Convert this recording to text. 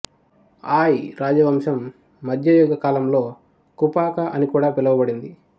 ఆయ్ రాజవంశం మధ్యయుగ కాలంలో కుపాకా అని కూడా పిలువబడింది